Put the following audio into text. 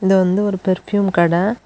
இது வந்து ஒரு பெர்ஃப்யூம் கட.